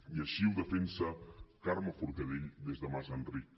i així ho defensa carme forcadell des de mas d’enric